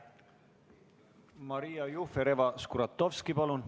Maria Jufereva-Skuratovski!